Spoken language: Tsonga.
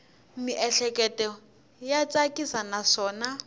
miehleketo ya tsakisa naswona